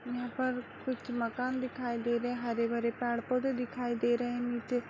--पर-पर कुछ मकान दिखाई दे रहे हैं हरे हरे पेड़ पौधे दिखाई दे रहे हैं नीचे।